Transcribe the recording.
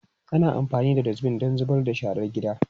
Ana amfani da Dustbin don zubar da sharar gida.